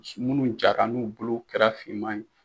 Minnu jara n'u bolo kɛra finman ye